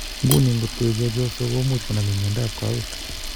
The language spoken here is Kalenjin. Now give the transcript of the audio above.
Nguni, ngotko i chepyosa komuch konamin miondap kawek